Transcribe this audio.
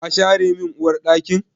Ka share min Uwar ɗakin?